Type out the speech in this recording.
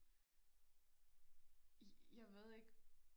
jeg jeg ved ikke